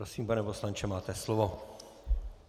Prosím, pane poslanče, máte slovo.